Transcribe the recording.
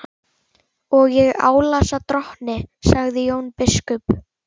Og ég álasa drottni, sagði Jón biskup.